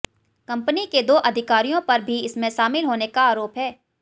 company के दो अधिकारियों पर भी इसमें शामिल होने का आरोप है